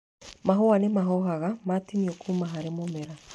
Mahũa nĩ mahohaga matinio kuuma harĩ mũmera.